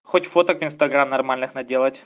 хоть фоток в инстаграм нормальных наделать